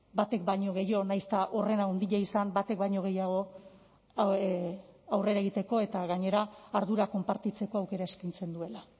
batek baino gehiago nahiz eta horren handia izan batek baino gehiago aurrera egiteko eta gainera ardura konpartitzeko aukera eskaintzen duela